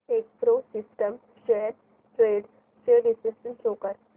Techpro systems shares trends चे विश्लेषण show कर